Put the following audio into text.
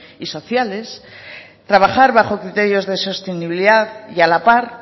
y sociales y trabajar bajo criterios de sostenibilidad y a la par